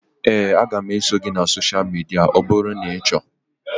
Éè, a ga m eso gị na sosha midia ọ bụrụ na ị chọọ